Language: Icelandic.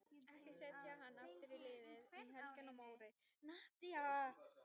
Ekki setja hann aftur í liðið um helgina Móri.